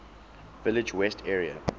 village west area